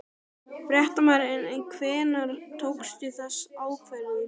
Fréttamaður: En hvenær tókstu þessa ákvörðun?